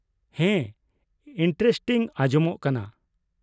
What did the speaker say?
ᱦᱮᱸ, ᱤᱱᱴᱟᱨᱮᱥᱴᱤᱝ ᱟᱸᱡᱚᱢᱚᱜ ᱠᱟᱱᱟ ᱾